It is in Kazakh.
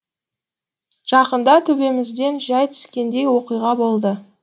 жақында төбемізден жай түскендей оқиға болды